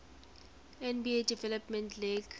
nba development league